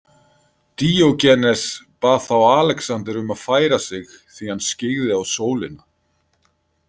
Díógenes bað þá Alexander um að færa sig því hann skyggði á sólina.